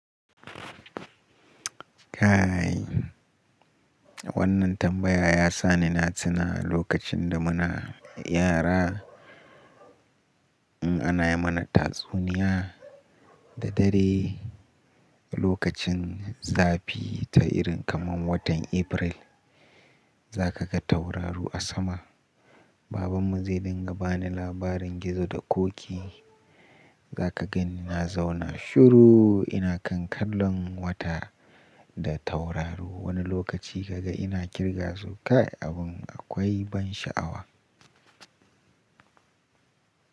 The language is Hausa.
Kaaai, wannan tambaya ya sa ni na tuna lokacin da muna yara, in ana mana tatsuniya da dare. Lokacin zafi ta irin kamar watan April, za ka ga tauraro a sama. Babanmu zai dinga bani labarin gizo da ƙoƙi. Za ka gani na zauna shuru ina kan kallon wata da tauraro. Wani lokaci ka ga ina kirga su. Kai abun akwai ban sha'awa.